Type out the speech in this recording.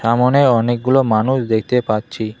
সামোনে অনেকগুলো মানুষ দেখতে পাচ্ছি।